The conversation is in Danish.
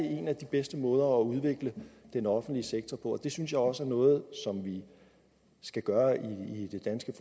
en af de bedste måder at udvikle den offentlige sektor på det synes jeg også er noget som vi skal gøre i det danske